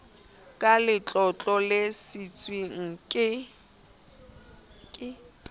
ka letlotlo le siilweng ke